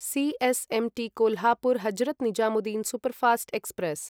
C S M T Kolhapur Hazrat Nizamuddin superfast express